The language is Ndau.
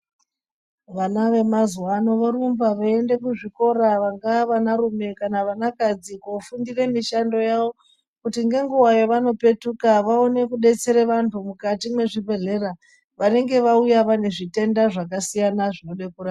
Vana vemazuwa ano vorumba veiende kuzvikora vangaa vanarime kana vanakadzi kofundire mishando yavo kuti ngenguva yevanopetuka vaone kudetsere vantu mukati mwezvibhehlera vanenge vauya vane zvitenda zvakasiyana -siyana zvinode kurapwa.